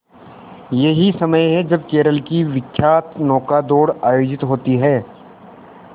यही समय है जब केरल की विख्यात नौका दौड़ आयोजित होती है